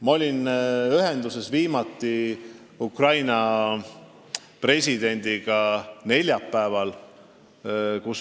Ma olin Ukraina presidendiga viimati ühenduses neljapäeval.